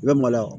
I bɛ maloya